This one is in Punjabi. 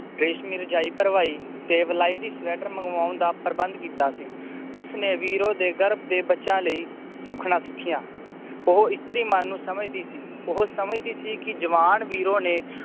ਰੇਸ਼ਮੀ ਰਜਾਈ ਭਰਵਾਈ ਤੇ ਵਲਾਇਤੀ ਸਵੈਟਰ ਮੰਗਵਾਉਣ ਦਾ ਪ੍ਰਬੰਧ ਕੀਤਾ ਸੀ ਉਸਨੇ ਵੀਰੋ ਦੇ ਗਰਭ ਦੇ ਬੱਚਿਆਂ ਲਈ ਸੁਖਣਾ ਸੁਖੀਆਂ ਉਹ ਇਇਸ੍ਤਰੀ ਮਨ ਨੂੰ ਸਮਝਦੀ ਸੀ ਉਹ ਸਮਝਦੀ ਸੀ ਕਿ ਜਵਾਨ ਵੀਰੋ ਨੇ